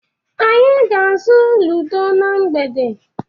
Anyị ga-azụ Ludo na mgbede.